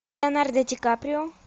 леонардо ди каприо